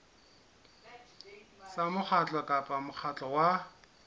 tsa mokgatlo kapa mokgatlo wa